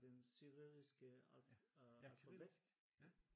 Den kyrilliske øh alfabet?